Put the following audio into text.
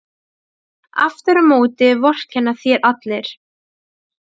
Aftur á móti vorkenna þér allir.